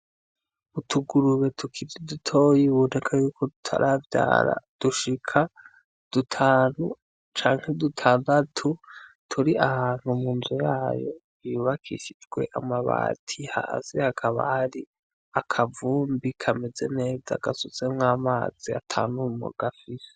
Utugurube tukiri dutoyi biboneka yuko tutaravyara dushika dutanu canke dutandatu turi ahantu mu nzu yayo yubakishijwe amabati hasi hakaba hari akavumbi kameze neza gasutsemwo amazi ata mwumo gafise.